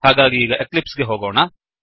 ಹಾಗಾಗಿ ಈಗ ಎಕ್ಲಿಪ್ಸ್ ಗೆ ಹೋಗೋಣ